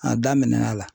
A daminɛna